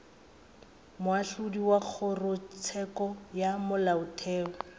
moahlodi wa kgorotsheko ya molaotheo